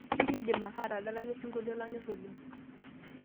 siri indim ake atadalayu osinkolio lanyor oleng